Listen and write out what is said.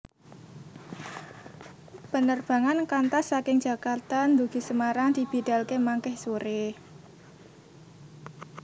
Penerbangan Qantas saking Jakarta ndugi Semarang dibidalke mangke sore